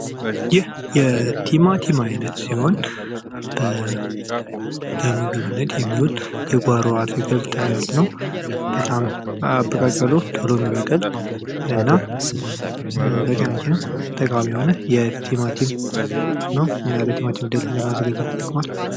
ይህ የቲማቲም አይነት ሲሆን ለምግብነት የሚውል የጓሮ አትክልት አይነት ነው በጣም አበቃቀሉ ቶሎ የሚበቀል እና ለጤናችን ጠቃሚ የሆነ ቲማቲም ነው። እና የቲማቲም ድልህ ለማዘጋጀት ይጠቅማል።